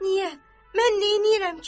Niyə, mən neynirəm ki?